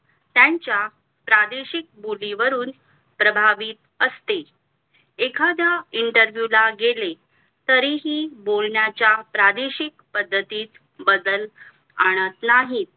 त्यांच्या प्रादेशिक बोलीवरून प्रभावी असते एखाद्या interview ला गेले तरीही बोलण्याच्या प्रादेशिक पद्धतीत बदल आणत नाही